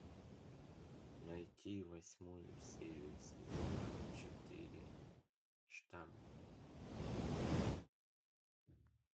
найти восьмую серию сезона четыре штамм